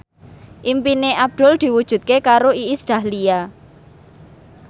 impine Abdul diwujudke karo Iis Dahlia